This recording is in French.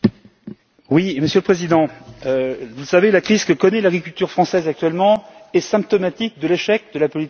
Monsieur le Président, la crise que connaît l'agriculture française actuellement est symptomatique de l'échec de la politique européenne.